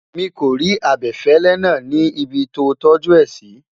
mí kò rí abefele nà ní ibì to tọju é si